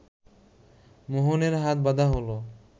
মোহনের হাত বাঁধা হলো